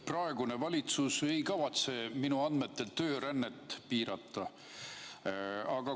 Praegune valitsus ei kavatse minu andmetel töörännet piirata.